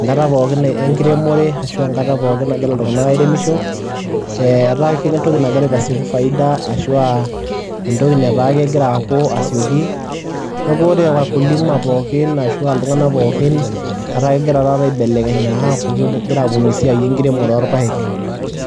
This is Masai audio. enkata pookin enkiremore ashu enkata pookin nagira iltung'anak airemisho. Ee etaa entoki nagira aitasieku faida ashu aa entoki nataa nagira aaku asioki, neeku ore wakulima pookin ashu aa iltung'anak pookin neeku egira taata aibelekenya aaku kegira aaponu esiai enkiremore oorpaek.